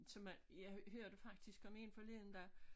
Så man jeg hørte faktisk om en forleden dag